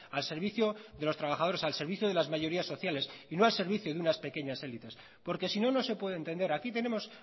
al servicio de los trabajadores al servicio de las mayorías sociales y no al servicio de unas pequeñas élites porque sino no se puede entender aquí tenemos